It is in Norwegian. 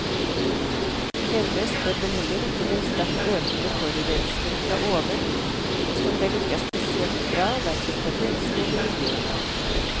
Glemmes bør vel heller ikke den sterkt økende forurensning fra oven, og som vel ikke er spesielt bra hverken for mennesket eller miljøet.